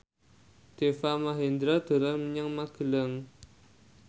Deva Mahendra dolan menyang Magelang